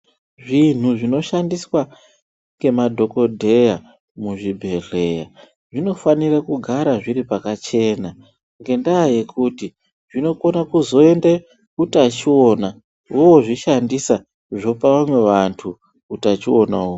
Zvinhu zvinoshandiswa ngemadhokodheya muzvibhedhlera zvinofanire kugara zviri pakachena ngenda yekuti zvinokone kusoende utachiona vozvishandisa zvope vamwe vantu utachiona uhwu.